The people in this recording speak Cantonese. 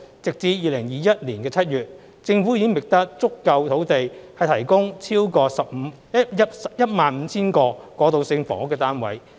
截至2021年7月，政府已覓得足夠土地提供超過 15,000 個過渡性房屋單位。